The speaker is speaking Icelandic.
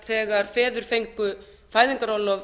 þegar feður fengu fæðingarorlof